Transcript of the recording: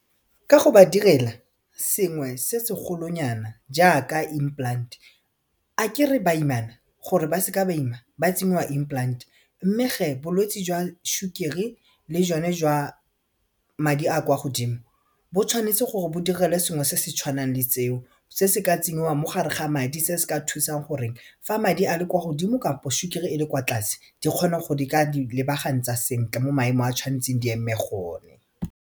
Ka go ba direla sengwe se segolo nyana jaaka implant akere baimana gore ba seke ba ima ba tsenngwa implant mme ge bolwetsi jwa sukiri le jone jwa madi a kwa godimo bo tshwanetse gore bo direlwe sengwe se se tshwanang le seo se se ka tsenngwang mo gare ga madi se se ka thusang goreng fa madi a le kwa godimo kampo sukiri e le kwa tlase di kgone go di ka di lebagantsa sentle mo maemo a tshwanetseng di eme gone.